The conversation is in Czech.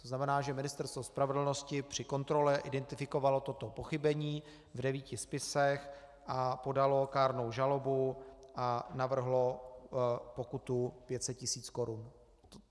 To znamená, že Ministerstvo spravedlnosti při kontrole identifikovalo toto pochybení v devíti spisech a podalo kárnou žalobu a navrhlo pokutu 500 tisíc korun.